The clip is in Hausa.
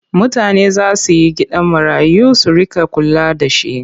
Mutane za su yi gidajen marayu su riƙa kula da shi.